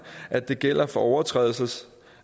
at det også gælder for overtrædelse